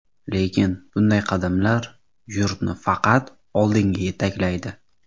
Lekin bunday qadamlar yurtni faqat oldinga yetaklaydi.